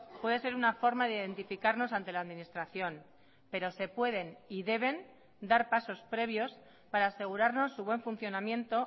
puede ser una forma de identificarnos ante la administración pero se pueden y deben dar pasos previos para asegurarnos su buen funcionamiento